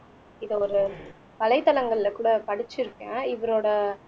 இதை ஒரு வலைத்தளங்கள்ல கூட படிச்சிருக்கேன் இவரோட